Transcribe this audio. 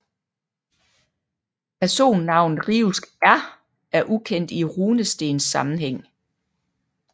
Personnavnet riuskR er ukendt i runestenssammenhæng